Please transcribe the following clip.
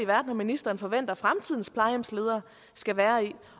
verden ministeren forventer fremtidens plejehjemsledere skal være i